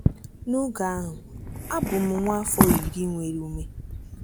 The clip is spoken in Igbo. N’oge ahụ, a bụ m nwa afọ iri nwere ume.